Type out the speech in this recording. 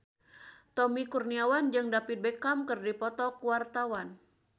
Tommy Kurniawan jeung David Beckham keur dipoto ku wartawan